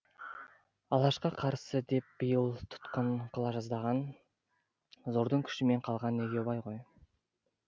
алашқа қарсы деп биыл тұтқын қыла жаздаған зордың күшімен қалған егеубай ғой